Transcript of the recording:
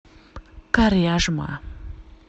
коряжма